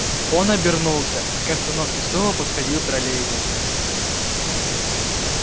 он обернулся к остановке снова подходил троллейбус